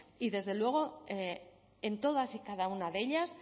y desde luego en todas y cada una de ellas